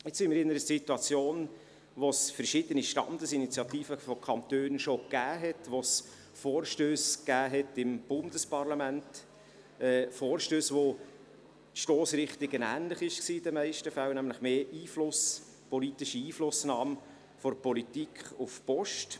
Jetzt befinden wir uns in einer Situation, in der es schon verschiedene Standesinitiativen von Kantonen gab, in der es Vorstösse im Bundesparlament gab – Vorstösse, deren Stossrichtung in den meisten Fällen ähnlich war, nämlich mit Blick auf mehr Einfluss, mehr politische Einflussnahme der Politik auf die Post.